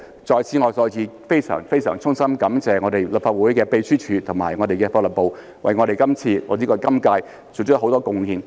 在此我再次非常非常衷心感謝立法會秘書處和法律事務部為今次或者今屆作出了很多貢獻。